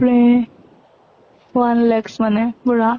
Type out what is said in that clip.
one lacs মানে পুৰা